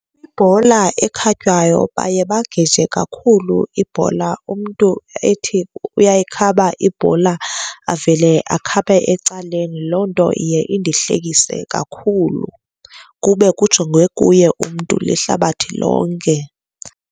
Ibhola ekhatywayo baye bageje kakhulu ibhola, umntu ethi uyayikhaba ibhola avele akhabe ecaleni. Loo nto iye indihlekise kakhulu kube kujongwe kuye umntu lihlabathi lonke.